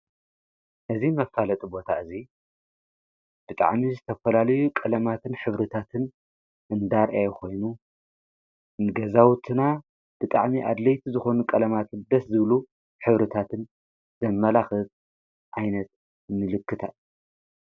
እዚ መፋለጢ ቦታ እዚ ብጣዕሚ ዝተፈላልዩ ቐለማትን ሕብርታትን እንዳርአየ ኾይኑ ንገዛውትና ብጣዕሚ ኣድለይቲ ዝኾኑ ቀለማትን ደስ ዝብል ሕብርታትን ዘመላኽት ዓይነት ምልክታ።